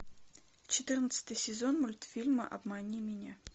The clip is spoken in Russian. четырнадцатый сезон мультфильма обмани меня